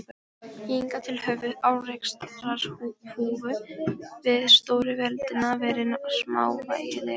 Hingað til höfðu árekstrar Þúfu við stóru veröldina verið smávægilegir.